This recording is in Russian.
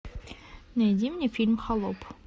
найди мне фильм холоп